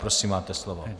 Prosím, máte slovo.